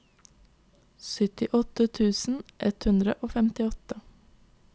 syttiåtte tusen ett hundre og femtiåtte